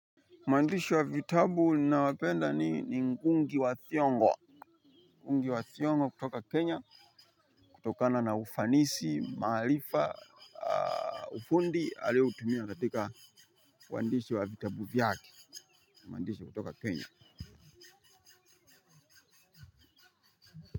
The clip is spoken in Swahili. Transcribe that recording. Mwandishi wa vitabu ninae mpenda ni ngugi wa thiongo kutoka Kenya kutokana na ufanisi, mahalifa, ufundi alio hutumia katika wandishi wa vitabu vyake mwandishi kutoka Kenya.